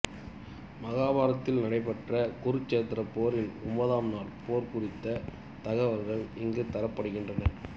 மகாபாரதத்தில் நடைபெற்ற குருச்சேத்திரப் போரின் ஒன்பதாம் நாள் போர் குறித்த தகவல்கள் இங்கு தரப்படுகின்றன